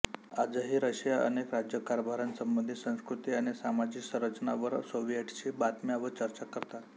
आजही रशिया अनेक राज्यकारभारासंबंधी संस्कृती आणि सामाजिक संरचना वर सोविएटशी बातम्या व चर्चा करतात